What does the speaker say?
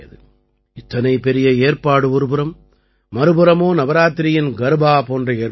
இத்தனை பெரிய ஏற்பாடு ஒருபுறம் மற்றொரு புறமோ நவராத்திரியின் கர்பா போன்ற ஏற்பாடுகள்